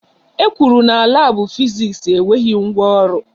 E kwuru na labu Fiziks enweghị ngwa ọrụ